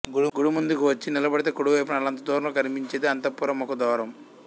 గుడి ముందుకు వచ్చి నిలబడితే కుడి వైపున ఆల్లంత దూరంలో కనిపించేదే అంతఃపుర ముఖ ద్వారం